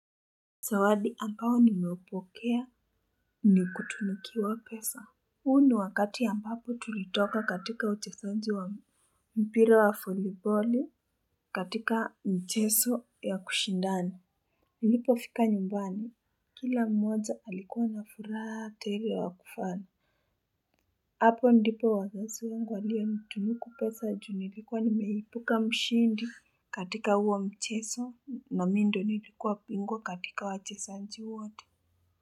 Zawadi ambao nimeupokea ni kutunukiwa pesa. Huu ni wakati ambapo tulitoka katika uchezaji wa mpira wa foliboli katika mcheso ya kushindani. Nilipo fika nyumbani. Kila mmoja alikuwa na furaha tele wa kufana. Hapo ndipo wazazi wangu walio nitunuku pesa ju nilikuwa nimeipuka mshindi katika huo mchezo na mi ndo nilikuwa bingwa katika wachesaji wote.